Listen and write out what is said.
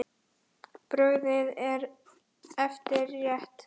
Brugðið eftir eitt.